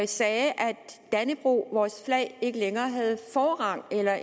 sagde at dannebrog vores flag ikke længere havde forrang eller